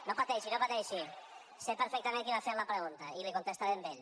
no pateixi no pateixi sé perfectament qui m’ha fet la pregunta i li contestaré a ell